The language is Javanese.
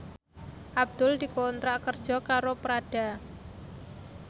Abdul dikontrak kerja karo Prada